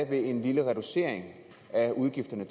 være en lille reducering af udgifterne